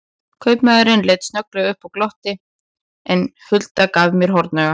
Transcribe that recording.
Kaupamaðurinn leit snögglega upp og glotti, en Hulda gaf mér hornauga.